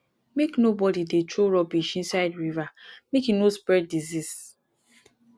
make nobody dey throw rubbish inside river make e no spread disease